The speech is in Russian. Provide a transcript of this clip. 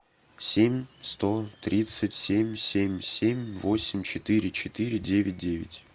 семь сто тридцать семь семь семь восемь четыре четыре девять девять